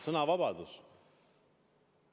Sõnavabadus!